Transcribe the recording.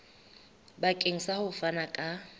bakeng sa ho fana ka